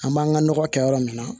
An b'an ka nɔgɔ kɛ yɔrɔ min na